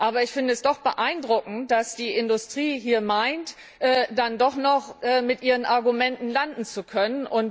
Aber ich finde es doch beeindruckend, dass die Industrie hier meint, dann doch noch mit ihren Argumenten landen zu können.